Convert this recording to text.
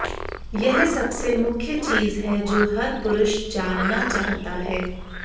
यह सबसे मुख्य चीज है जो हर पुरुष जानना चाहता है